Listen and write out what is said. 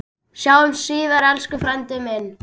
Sjáumst síðar, elsku frændi minn.